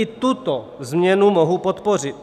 I tuto změnu mohu podpořit.